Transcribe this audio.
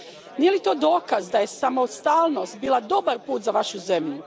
Nije li to dokaz da je samostalnost bila dobar put za vašu zemlju?